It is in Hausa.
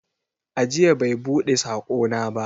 Ajiya bai buɗe saƙona ba.